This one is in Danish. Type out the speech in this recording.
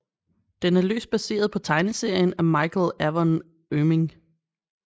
Den er løst baseret på tegneserien af Michael Avon Oeming